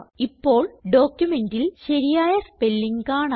ഇപ്പോൾ ഡോക്യുമെന്റിൽ ശരിയായ സ്പെല്ലിംഗ് കാണാം